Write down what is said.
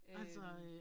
Øh